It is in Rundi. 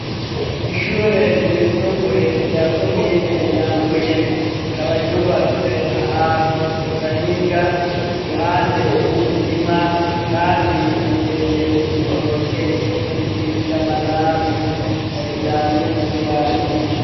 Ishure ryisumbuye rya komine Nyambuye, rikaba ryubatse ahantu mu gahinga, iruhande y'imirima kandi hateye ibitoke n'ibiti vy'amanazi, kagira n'imbuga nini.